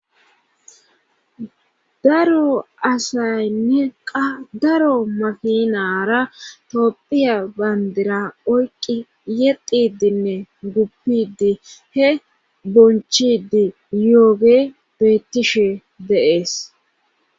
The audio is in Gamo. Daro asaynne qadaro mafinara topphiya bandira oyqi yexidinne guppidi he bonchidi yooge beyttishe deees.